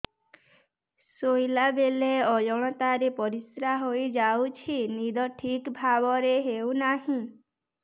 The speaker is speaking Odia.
ଶୋଇଲା ବେଳେ ଅଜାଣତରେ ପରିସ୍ରା ହୋଇଯାଉଛି ନିଦ ଠିକ ଭାବରେ ହେଉ ନାହିଁ